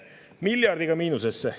Miljardiga miinusesse!